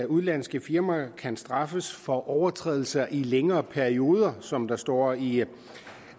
udenlandske firmaer kan straffes for overtrædelser i længere perioder som der står i